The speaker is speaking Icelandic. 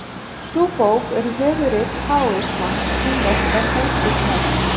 Sú bók er höfuðrit taóisma, kínverskrar heimspekihefðar.